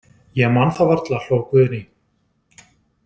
Ég man það varla, hló Guðný.